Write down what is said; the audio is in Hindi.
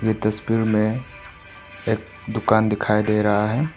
तस्वीर में एक दुकान दिखाई दे रहा है।